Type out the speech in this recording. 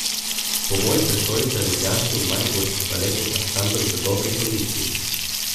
Po moji presoji sta ljubljanski in mariborski baletni ansambel v dobri kondiciji.